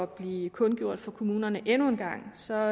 blive kundgjort for kommunerne endnu en gang så